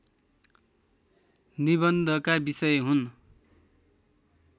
निबन्धका विषय हुन्